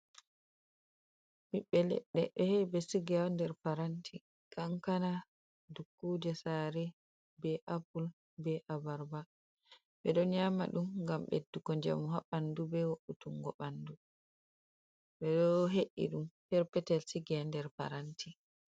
Ɓibbe ledde. behe'e sigi der paranti. kankana, dukkuje sare, be apple, be abarba. Ɓe don nyama dum gam beddugo jamu haɓandu be wo’’utungo bandu. Ɓedo he’i dum perpetel sigi haɗer paranti.